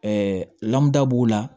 Ɛɛ lamuda b'u la